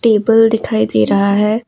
Table दिखाई दे रहा है।